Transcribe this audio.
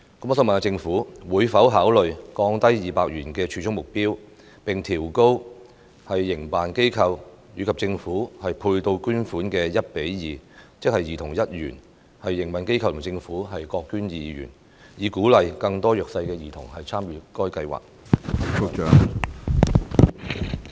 我想問政府會否考慮降低200元的儲蓄目標，並將營辦機構和政府配對捐款的比例提高至 1：2， 即兒童儲蓄1元，營運機構和政府各捐2元，以鼓勵更多弱勢兒童參與該計劃？